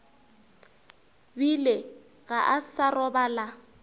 bile ga a sa robala